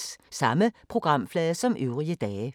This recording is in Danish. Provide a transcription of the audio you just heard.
Samme programflade som øvrige dage